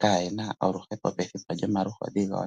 kale yena oluhepo pethimbo lyomaluhodhi gawo.